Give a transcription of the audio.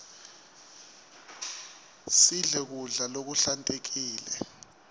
sidle kudla lokuhlantekile